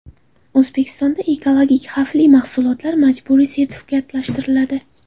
O‘zbekistonda ekologik xavfli mahsulotlar majburiy sertifikatlashtiriladi.